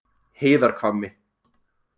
Heiðarhvammi